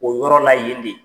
O yɔrɔ la yen